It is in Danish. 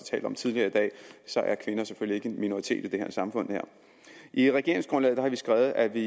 talt om tidligere i dag kvinder selvfølgelig en minoritet i det her samfund i regeringsgrundlaget har vi skrevet at vi